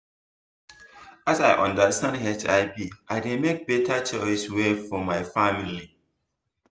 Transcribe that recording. as i understand hiv i dey make better choice well for my family